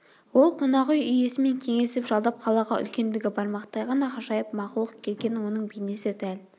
ол қонақүй иесімен кеңесіп жалдап қалаға үлкендігі бармақтай ғана ғажайып мақұлық келгенін оның бейнесі дәл